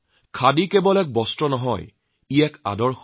খাদী কেৱল এবিধ বস্ত্ৰ নহয় ই এক ঐতিহ্য